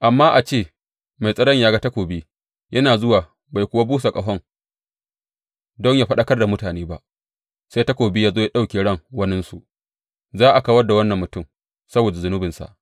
Amma a ce mai tsaron ya ga takobi yana zuwa bai kuwa busa ƙaho don yă faɗakar da mutane ba sai takobi ya zo ya ɗauki ran waninsu, za a kawar da wannan mutum saboda zunubinsa,